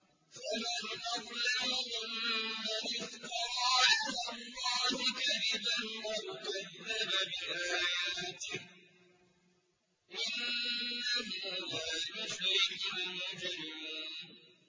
فَمَنْ أَظْلَمُ مِمَّنِ افْتَرَىٰ عَلَى اللَّهِ كَذِبًا أَوْ كَذَّبَ بِآيَاتِهِ ۚ إِنَّهُ لَا يُفْلِحُ الْمُجْرِمُونَ